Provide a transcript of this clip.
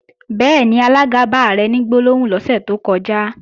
Bẹ́ẹ̀ni, alága bá Ààrẹ ní gbólóhùn lọ́sẹ̀ tó kọjá